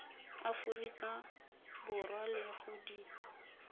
aforika borwa le go di